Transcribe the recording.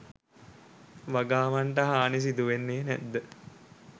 වගාවන්ට හානි සිදුවෙන්නේ නැද්ද